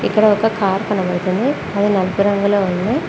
ఇక్కడ ఒక కార్ కనబడుతుంది అది నలుపు రంగులో ఉంది.